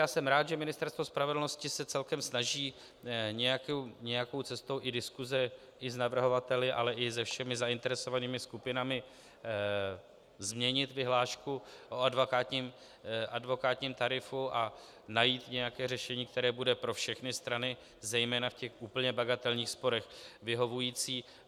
Já jsem rád, že Ministerstvo spravedlnosti se celkem snaží nějakou cestou i diskuze i s navrhovateli, ale i se všemi zainteresovanými skupinami změnit vyhlášku o advokátním tarifu a najít nějaké řešení, které bude pro všechny strany zejména v těch úplně bagatelních sporech vyhovující.